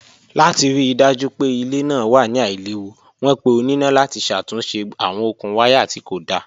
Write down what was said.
Lati rii daju pe ile naa wa ni ailewu, wọn pe onina lati ṣatunṣe awọn okun waya ti ko da.